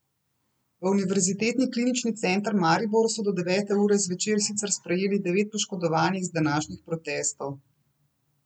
V Univerzitetni klinični center Maribor so do devete ure zvečer sicer sprejeli devet poškodovanih z današnjih protestov.